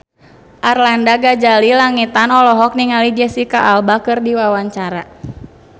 Arlanda Ghazali Langitan olohok ningali Jesicca Alba keur diwawancara